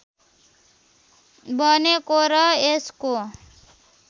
बनेको र यसको